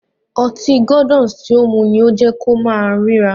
Ọtí Gordon's ti o mu ni ó jẹ kó ma únrìrà.